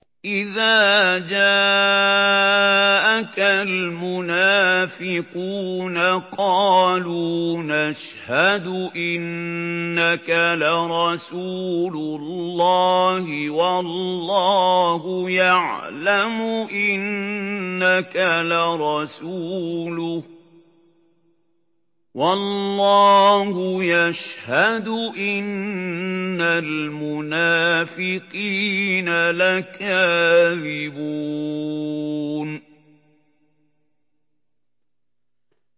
إِذَا جَاءَكَ الْمُنَافِقُونَ قَالُوا نَشْهَدُ إِنَّكَ لَرَسُولُ اللَّهِ ۗ وَاللَّهُ يَعْلَمُ إِنَّكَ لَرَسُولُهُ وَاللَّهُ يَشْهَدُ إِنَّ الْمُنَافِقِينَ لَكَاذِبُونَ